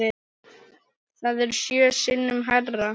Það er sjö sinnum hærra.